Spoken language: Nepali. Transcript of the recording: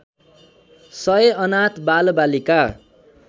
सय अनाथ बालबालिका